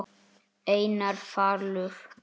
Einar Falur.